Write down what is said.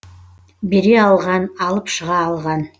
бере алған алып шыға алған